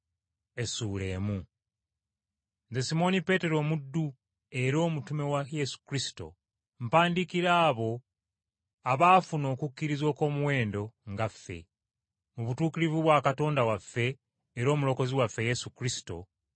Nze Simooni Peetero omuddu era omutume wa Yesu Kristo mpandiikira abo abaafuna okukkiriza okw’omuwendo nga ffe, mu butuukirivu bwa Katonda waffe era Omulokozi waffe Yesu Kristo,